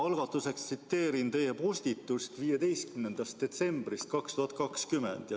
Ma algatuseks tsiteerin teie postitust 15. detsembrist 2020.